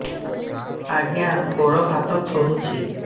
ଆଜ୍ଞା ଗୋଡ଼ ହାତ ଥରୁଛି